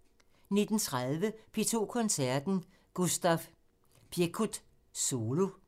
19:20: P2 Koncerten – Gustav Piekut solo